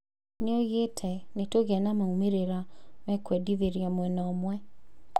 Nĩoigĩte "nĩtũgĩa na maumĩrĩra mekwendithĩria mwena ũmwe"